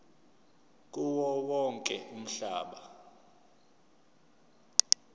kuwo wonke umhlaba